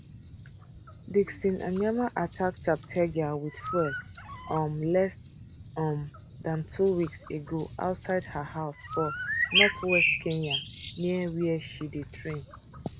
dickson ndiema attack cheptegei wit fuel um less um dan two weeks ago outside her house for northwest kenya near wia she dey train